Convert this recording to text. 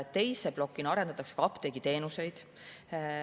Teise plokina arendatakse apteegiteenuseid.